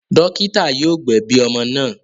Dọ́kítá yóò gbẹ̀bi ọmọ náà.